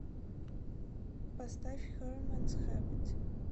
поставь херманс хэбит